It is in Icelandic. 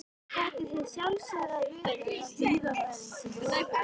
Þetta er hið sjálfstæða hlutverk hjúkrunarfræðingsins.